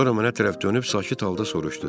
Sonra mənə tərəf dönüb sakit halda soruşdu: